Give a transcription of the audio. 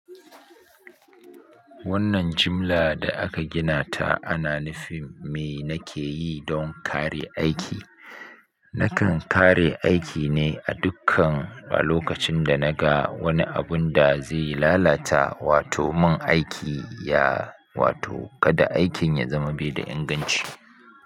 Wannan jimla da aka gina ta ana nufin me na ke yi don kare aiki. Nakan kare aiki ne a dukkan lokacin da na ga wani abun da zai lalata wato mun aiki ya wato kada aikin ya zama bai da inganci.